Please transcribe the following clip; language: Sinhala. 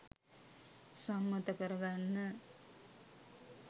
සම්මත කරගන්න